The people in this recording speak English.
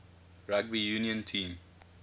rugby union team